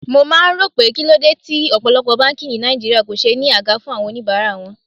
Mo máa ń rò pé kíló dé tí ọ̀pọ̀lọpọ̀ báńkì ni Nàìjíríà kò ṣe ní àga fún àwọn oníbàárà wọn.